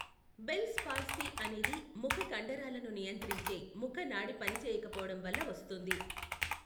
Bells palsy అనేది ముఖ కండరాలను నియంత్రించే ముఖ నాడి పనిచేయకపోవడం వల్ల వస్తుంది.